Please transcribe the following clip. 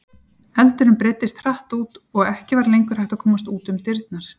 Eldurinn breiddist hratt út og ekki var lengur hægt að komast út um dyrnar.